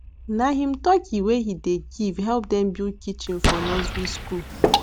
na him turkey wey him dey give help dem build kitchen for nursery school